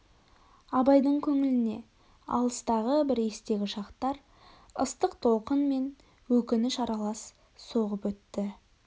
абайдың көңіліне алыстағы бір естегі шақтар ыстық толқын мен өкініш аралас соғып өтті